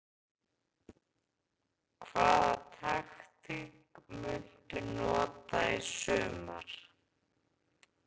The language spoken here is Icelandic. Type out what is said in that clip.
Hvaða taktík muntu nota í sumar?